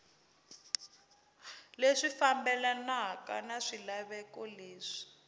leswi fambelanaka na swilaveko leswi